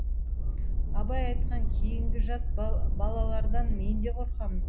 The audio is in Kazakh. абай айтқан кейінгі жас балалардан мен де қорқамын